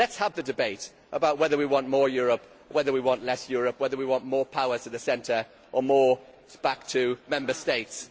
Let us have the debate about whether we want more Europe or whether we want less Europe, whether we want more power to the centre or more back to Member States.